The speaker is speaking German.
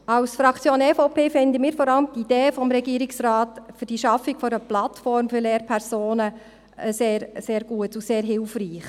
Als Fraktion EVP finden wir vor allem die Idee des Regierungsrates für die Schaffung einer Plattform für Lehrpersonen sehr gut und sehr hilfreich.